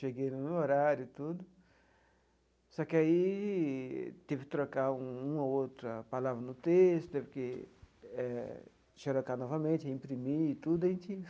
Cheguei no horário tudo, só que aí teve que trocar uma ou outra palavra no texto, teve que eh xerocar novamente, imprimir tudo a gente.